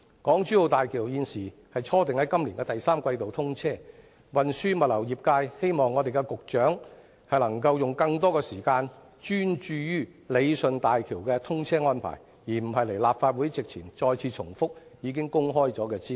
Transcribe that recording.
港珠澳大橋現時初訂於今年第三季通車，運輸物流業界希望局長能夠用更多時間專注於理順大橋的通車安排，而不是到立法會席前重複已經公開的資料。